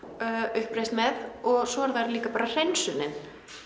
uppreisn með og svo er það líka bara hreinsunin